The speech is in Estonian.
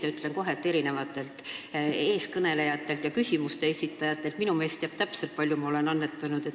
Ja ütlen kohe, et erinevalt eelkõnelejatest, küsimuste esitajatest teab minu mees täpselt, kui palju ma olen annetanud.